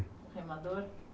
O remador?